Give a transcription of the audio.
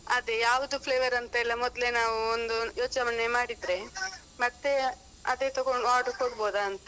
ಅದೆ ಯಾವ್ದು flavour ಅಂತೆಲ್ಲ ಮೊದ್ಲೆ ನಾವು ಒಂದು ಯೋಚನೆ ಮಾಡಿದ್ರೆ ಮತ್ತೆ ಅದೆ ತಗೊಂಡು order ಕೊಡ್ಬೋದ ಅಂತ.